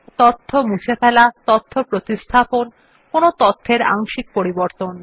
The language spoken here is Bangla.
তথ্য মুছে ফেলা তথ্য প্রতিস্থাপন কোন তথ্যের আংশিক পরিবর্তন